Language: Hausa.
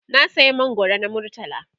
na saya mangwaro na murtala